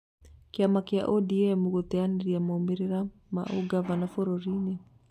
Kĩama kia ũdiemu gũteanĩria maumĩrĩra ma ũgavana bũrũrini